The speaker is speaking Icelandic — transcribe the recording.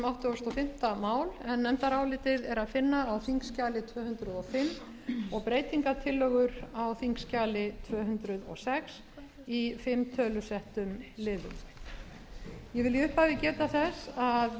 áttugasta og fimmta mál en nefndarálitið er að finna á þingskjali tvö hundruð og fimm og breytingartillögur á þingskjali tvö hundruð og sex í fimm tölusettum liðum ég vil í upphafi geta þess að